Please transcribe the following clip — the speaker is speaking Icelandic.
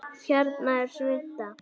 Hérna er svunta